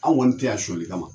An kɔni te yan soɲɛni kama